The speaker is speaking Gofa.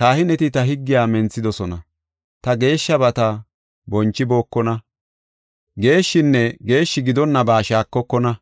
Kahineti ta higgiya menthidosona; ta geeshshabata bonchibookona. Geeshshinne geeshshi gidonna ba shaakokona;